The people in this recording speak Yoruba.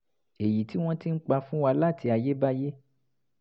èyí tí wọ́n ti ń pa fún wa láti ayébáyé